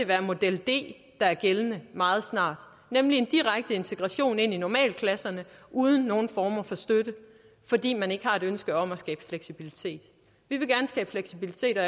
være model d der er gældende meget snart nemlig en direkte integration i normalklasserne uden nogen former for støtte fordi man ikke har et ønske om at skabe fleksibilitet vi vil gerne skabe fleksibilitet og